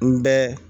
N bɛ